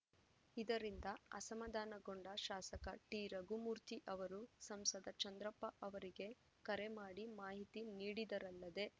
ಇದರಿಂದ ಅಸಮಧಾನಗೊಂಡ ಶಾಸಕ ಟಿರಘುಮೂರ್ತಿ ಅವರು ಸಂಸದ ಚಂದ್ರಪ್ಪ ಅವರಿಗೆ ಕರೆ ಮಾಡಿ ಮಾಹಿತಿ ನೀಡಿದರಲ್ಲದೆ